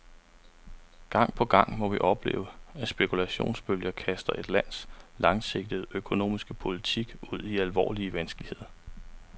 Gang på gang må vi opleve, at spekulationsbølger kaster et lands langsigtede økonomiske politik ud i alvorlige vanskeligheder.